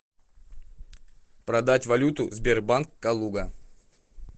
продать валюту сбербанк калуга